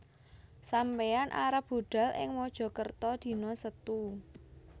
Sampeyan arep budhal ing Mojokerto dino Setu